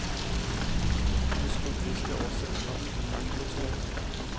Udskriv liste over sendt post til faxmodtager.